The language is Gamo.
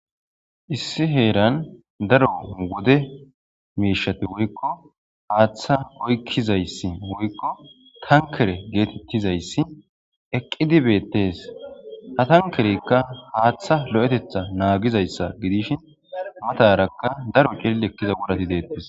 issi heeran daro wode miishati woykko haaththa oykkizayssi woykko tankere geetettizayssi eqqidi beettes ha tankerekka haaththa lo7etetha naagizayssa gidish matarakka daro celil ekkiza wurati deettes